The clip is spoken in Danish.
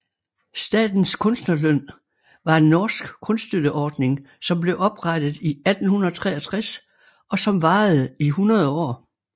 Statens kunstnerlønn var en norsk kunststøtteordning som blev oprettet i 1863 og som varede i hundrede år